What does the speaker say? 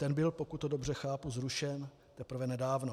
Ten byl, pokud to dobře chápu, zrušen teprve nedávno.